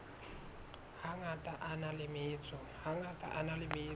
hangata a na le metso